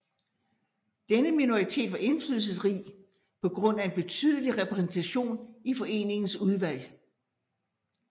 Denne minoritet var indflydelsesrig på grund af en betydelig repræsentation i foreningens udvalg